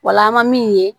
Wala an bɛ min ye